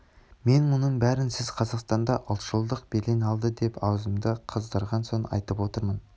мен мұның бәрін сіз қазақстанда ұлтшылдық белең алды деп аузымды қыздырған соң айтып отырмын